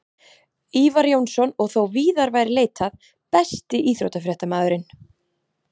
Kristján Már Unnarsson: Snjóþykktin?